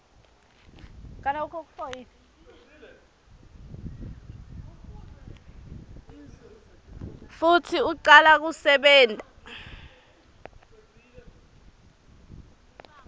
futsi ucala kusebenta